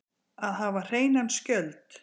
Að hafa hreinan skjöld